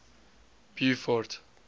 beaufort